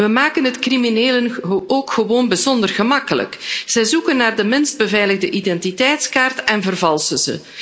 We maken het criminelen ook gewoon bijzonder gemakkelijk. Ze zoeken naar de minst beveiligde identiteitskaart en vervalsen die.